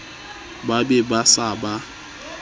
ba be ba se ba